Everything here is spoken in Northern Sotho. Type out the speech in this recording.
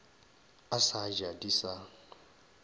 a sa ja di sa